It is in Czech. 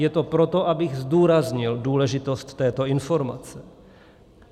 Je to proto, abych zdůraznil důležitost této informace.